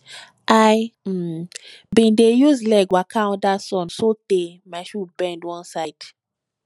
i um bin dey use leg waka under sun sotee my shoe bend one side